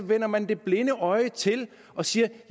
vender man det blinde øje til og siger